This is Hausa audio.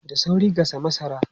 Da sauri gasa masara!